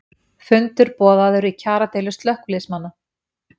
Fundur boðaður í kjaradeilu slökkviliðsmanna